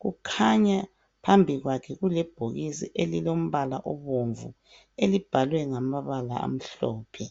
kukhanya phambi kwakhe kulebhokisi elilombala obomvu elibhalwe ngamabala amhlophe